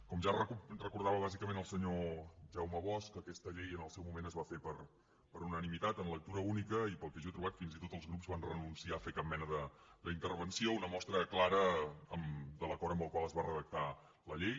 com ja recordava bàsicament el senyor jaume bosch aquesta llei en el seu moment es va fer per unanimitat en lectura única i pel que jo he trobat fins i tot els grups van renunciar a fer cap mena d’intervenció una mostra clara de l’acord amb el qual es va redactar la llei